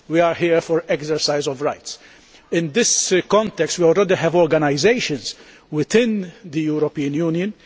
We are here for exercise of rights. In this context we already have organisations within the European Union.